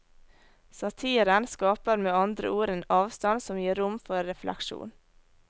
Satiren skaper med andre ord en avstand som gir rom for refleksjon.